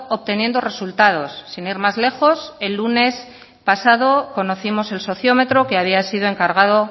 obteniendo resultados sin ir más lejos el lunes pasado conocimos el sociometro que había sido encargado